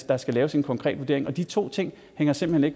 der skal laves en konkret vurdering de to ting hænger simpelt hen